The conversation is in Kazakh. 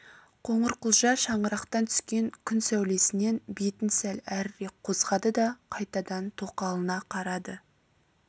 қоңырқұлжа шаңырақтан түскен күн сәулесінен бетін сәл әрірек қозғады да қайтадан тоқалына қарады